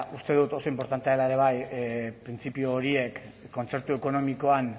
uste dut oso inportantea dela ere printzipio horiek kontzertu ekonomikoan